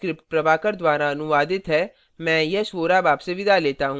यह स्क्रिप्ट प्रभाकर द्वारा अनुवादित है मैं यश वोरा अब आपसे विदा लेता हूँ